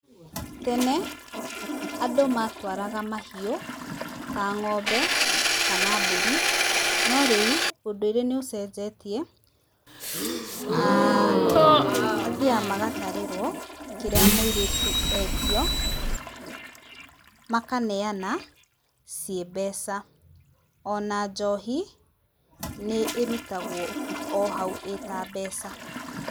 Tene, andũ matwaraga mahiũ ta ng'ombe, kana mbũri, no rĩu ũndũire nĩ ũcenjetie, aah mathiaga magatarerwo kĩrĩa mũiretu etio, makaneana ciĩ mbeca, ona njohi nĩ ĩrutagwo o hau ĩta mbeca.